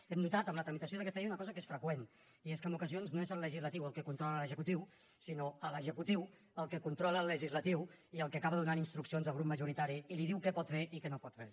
hem notat en la tramitació d’aquesta llei una cosa que és freqüent i és que en ocasions no és el legislatiu el que controla l’executiu sinó l’executiu el que controla el legislatiu i el que acaba donant instruccions al grup majoritari i li diu què pot fer i què no pot fer